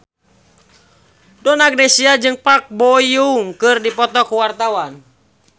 Donna Agnesia jeung Park Bo Yung keur dipoto ku wartawan